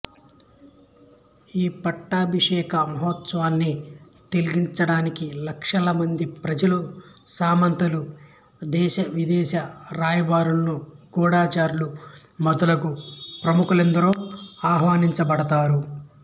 ఈ పట్టాభిషేక మహోత్సవాన్ని తిలకించడానికి లక్షలాది ప్రజలు సామంతులు దేశ విదేశ రాయబారులు గూఢచారులు మొదలగు ప్రముఖులెందరో ఆహ్వానింపబడతారు